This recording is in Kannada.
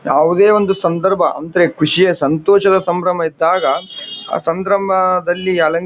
ಯಾವುದೇ ಒಂದು ಸಂದರ್ಭ ಅಂದ್ರೆ ಖುಷಿಯಾ ಸಂತೋಷದ ಸಂಬ್ರಹ್ಮ ಇದ್ದಾಗ ಆ ಸಂಬ್ರಾಹಮದಲ್ಲಿ ಅಲಂಕ --